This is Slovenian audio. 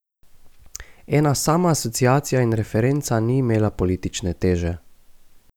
Ena sama asociacija in referenca ni imela politične teže.